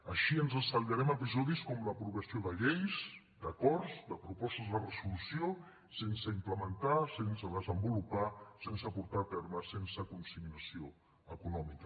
així ens estalviarem episodis com l’aprovació de lleis d’acords de propostes de resolució sense implementar sense desenvolupar sense portar a terme sense consignació econòmica